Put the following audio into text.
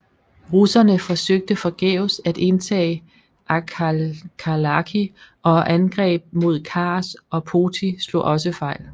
Russerne forsøgt forgæves at indtage Akhalkalaki og angreb mod Kars og Poti slog også fejl